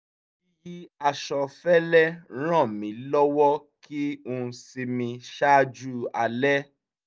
yíyí aṣọ fẹ́lẹ́ ràn mí lọ́wọ́ kí n sinmi ṣáájú alẹ́